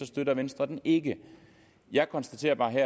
støtter venstre den ikke jeg konstaterer bare